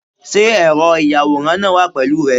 Sé ẹ̀rọ ìyàwòrán náà wà pẹ̀lú rẹ?